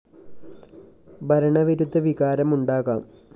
ഭരണ വിരുദ്ധ വികാരം ഉണ്ടാകാം